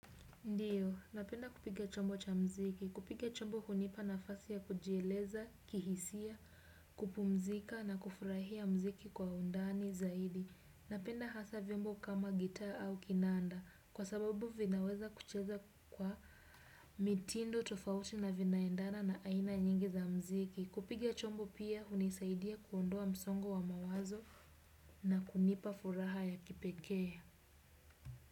Ndiyo. Napenda kupiga chombo cha mziki. Kupiga chombo hunipa nafasi ya kujieleza, kihisia, kupumzika na kufurahia mziki kwa undani zaidi. Napenda hasa vyombo kama gitaa au kinanda. Kwa sababu vinaweza kuchezwa kwa mitindo, tofauti na vinaendana na aina nyingi za mziki. Kupiga chombo pia hunisaidia kuondoa msongo wa mawazo na kunipa furaha ya kipekee.